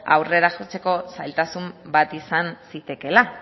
aurrera jotzeko zailtasun bat izan zitekeela